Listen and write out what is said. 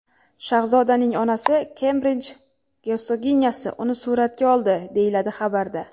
Shahzodaning onasi Kembrij gersoginyasi uni suratga oldi”, deyiladi xabarda.